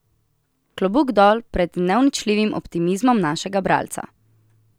Klobuk dol pred neuničljivim optimizmom našega bralca!